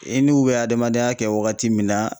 I n'u bɛ adamadenya kɛ wagati min na